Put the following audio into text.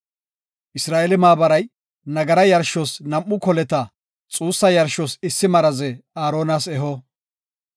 Isra7eele maabaray nagara yarshos nam7u koleta, xuussa yarshos issi maraze Aaronas eho.